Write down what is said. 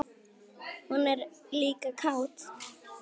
Hún er líka kát.